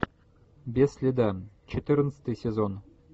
без следа четырнадцатый сезон